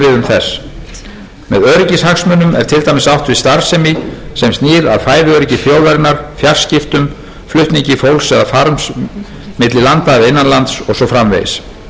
starfsemi sem snýr að fæðuöryggi þjóðarinnar fjarskiptum flutningi fólk eða farms milli landa eða innan lands og svo framvegis þessar skilgreiningar eru þó að sjálfsögðu ekki tæmandi og æskilegt að félagið hafi frekari viðmið til að starfa